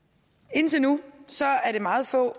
indtil nu er det meget få